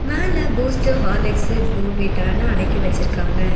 மேல Boost Horlicks போன்விட்டானு அடக்கி வச்சிருக்காங்க.